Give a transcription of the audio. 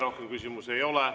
Rohkem küsimusi ei ole.